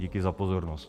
Díky za pozornost.